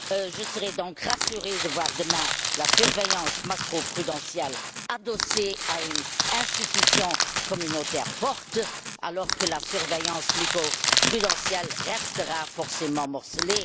Je serais donc rassurée de voir demain la surveillance macroprudentielle adossée à une institution communautaire forte, alors que la surveillance microprudentielle restera forcément morcelée.